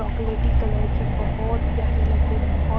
चॉकलेटी कलर की बहुत प्यारी लग रही बहुत।